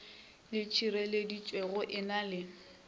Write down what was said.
le tšhireletšego e na le